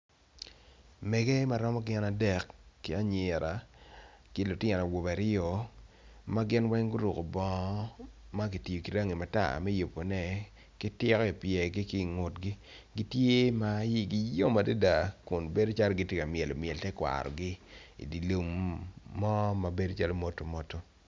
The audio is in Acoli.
Mege ma romo gin adek ki anyira ki lutino awobe aryo magin weng guroko bongo magitiyo ki rangi matar me yubo ne ki tiko i pyegi gitye ma iyigi yom adada kun bedo calo gitye ka myelo myel tekwaro gi i dye lumo ma obedo modomodo.